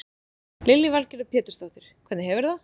Lillý Valgerður Pétursdóttir: Hvernig hefurðu það?